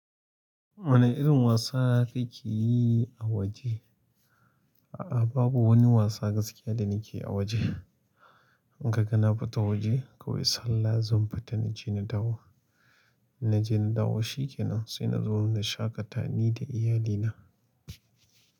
Wane irin wasa kake yi a waje? Babu wani wasa gaskiya da nakeyi a waje. In kaga na fita waje, kawai sallah zan fita na je na dawo. Na je na dawo, shi ke nan. Sai na zo na shaƙata ni da iyalina.